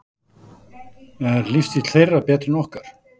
Er lífstíll þeirra betri en okkar?